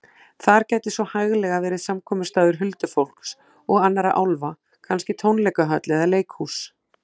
Þar gæti svo hæglega verið samkomustaður huldufólks og annarra álfa, kannski tónleikahöll eða leikhús.